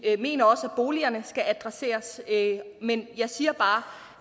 mener også at boligerne skal adresseres men jeg siger bare